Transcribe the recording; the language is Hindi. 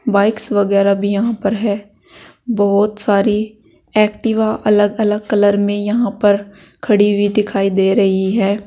बाइक्स वगैरा भी यहां पर है बहुत सारी एक्टिवा अलग अलग कलर में यहां पर खड़ी हुई दिखाई दे रही है।